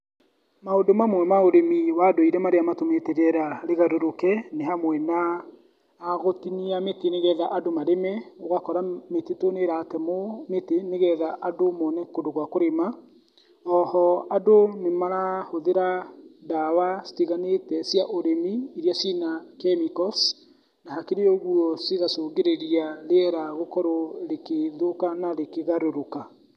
Maundũ mamwe ma ũrĩmi wa ndũire marĩa matũmĩte rĩera rĩgarũrũke nĩ hamwe na, na gũtinia mĩtĩ nĩgetha andũ marĩme, ũgakora mĩtitũ nĩ ĩratemwo mĩtĩ, nĩgetha andũ mone kũndũ gwa kũrĩma, na o ho andũ nĩmarahũthĩra ndawa citiganĩte cia ũrĩmi, iria ciĩ na chemicals, na hakĩrĩ ũguo cĩgacũngĩrĩria rĩera gũkorwo rĩgĩthũka na rĩkĩgarũrũka.